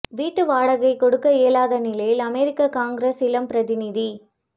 வீட்டு வாடகை கொடுக்க இயலாத நிலையில் அமெரிக்க காங்கிரஸ் இளம் பிரதிநிதி